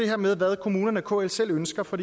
hvad kommunerne og kl selv ønsker for